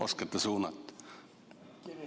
Oskate suunata?